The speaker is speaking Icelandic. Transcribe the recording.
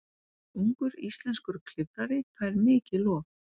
Ungur íslenskur klifrari fær mikið lof